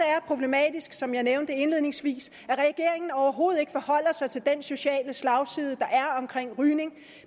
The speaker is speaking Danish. er problematisk som jeg nævnte indledningsvis at regeringen overhovedet ikke forholder sig til den sociale slagside der er omkring rygning